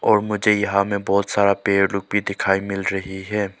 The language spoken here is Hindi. और मुझे यहां में बहोत सारा पेड़ लोग भी दिखाई मिल रही है।